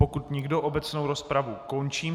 Pokud nikdo, obecnou rozpravu končím.